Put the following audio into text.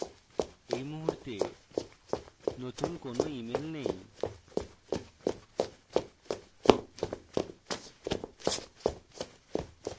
এই মুহূর্তে নতুন কোনো emails নেই